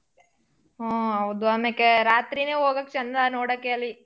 ಹೂ ಹೌದು ಅಮೇಕೆ ರಾತ್ರೀನೇ ಹೋಗಕ್ ಚಂದಾ ನೋಡಕ್ಕೆ ಅಲ್ಲಿ.